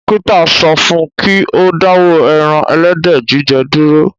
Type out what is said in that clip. Dókítà sọ fún un kí ó dáwọ́ ẹran ẹlẹ́dẹ̀ jíjẹ dúró